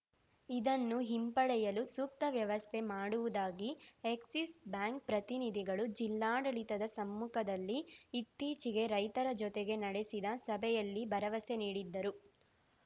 ಇದನ್ನು ಹಿಂಪಡೆಯಲು ಸೂಕ್ತ ವ್ಯವಸ್ಥೆ ಮಾಡುವುದಾಗಿ ಎಕ್ಸಿಸ್‌ ಬ್ಯಾಂಕ್‌ ಪ್ರತಿನಿಧಿಗಳು ಜಿಲ್ಲಾಡಳಿತದ ಸಮ್ಮುಖದಲ್ಲಿ ಇತ್ತೀಚಿಗೆ ರೈತರ ಜೊತೆಗೆ ನಡೆಸಿದ ಸಭೆಯಲ್ಲಿ ಭರವಸೆ ನೀಡಿದ್ದರು